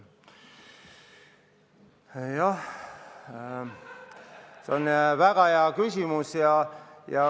Jah, see on väga hea küsimus.